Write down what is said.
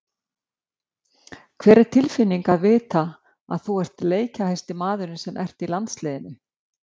Hvernig er tilfinningin að vita að þú ert leikjahæsti maðurinn sem ert í landsliðinu?